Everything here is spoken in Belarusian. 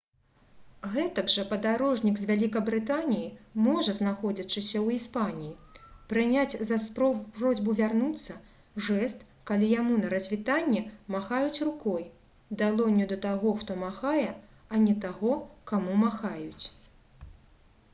гэтак жа падарожнік з вялікабрытаніі можа знаходзячыся ў іспаніі прыняць за просьбу вярнуцца жэст калі яму на развітанне махаюць рукой далонню да таго хто махае а не таго каму махаюць